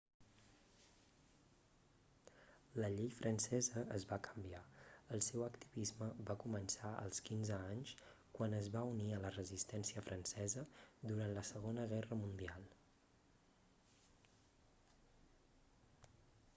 la llei francesa es va canviar el seu activisme va començar als 15 anys quan es va unir a la resistència francesa durant la segona guerra mundial